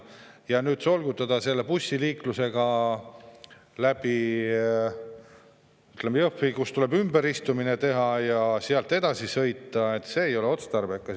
Ja nüüd solgutada inimesi selle bussiliiklusega läbi Jõhvi, kus tuleb ümberistumine teha, ja sealt edasi sõita – see ei ole otstarbekas.